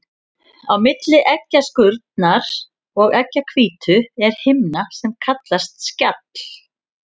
Á milli eggjaskurnar og eggjahvítu er himna sem kallast skjall.